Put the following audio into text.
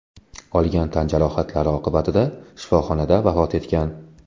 olgan tan jarohatlari oqibatida shifoxonada vafot etgan.